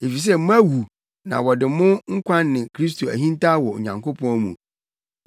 Efisɛ moawu na wɔde mo nkwa ne Kristo ahintaw wɔ Onyankopɔn mu.